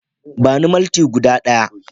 Bani malti guda ɗaya